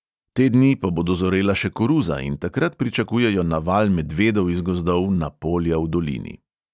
Te dni pa bo dozorela še koruza in takrat pričakujejo naval medvedov iz gozdov na polja v dolini.